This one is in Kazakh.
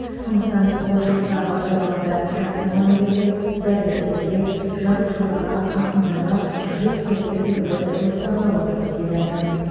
сондықтан болашақта бағдарламада жас мұғалімдерге дәрігерлерге жазушыларға ақындарға жүз пәтер бөлуді жоспарлап отырмыз деді әкім